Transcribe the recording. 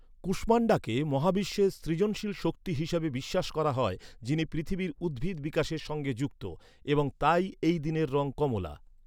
কুষ্মান্ডাকে মহাবিশ্বের সৃজনশীল শক্তি হিসাবে বিশ্বাস করা হয়, যিনি পৃথিবীর উদ্ভিদ বিকাশের সঙ্গে যুক্ত, এবং তাই এই দিনের রঙ কমলা।